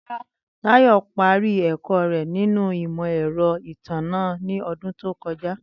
Táyò̩ parí è̩kó̩ rè̩ nínú imò̩-è̩ro̩ ìtànná ní o̩dún tó ko̩ja